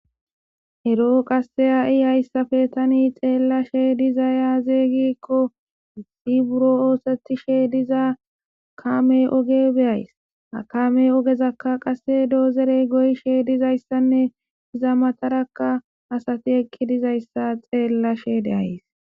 Ero qasi hayisan tani xelashe dizayis aze giiko hai buro osetishe diza kamey oge be'ayis dozorey goyishe dizayisanee iza mataraka asati eqi dizayisa xelashe de'ays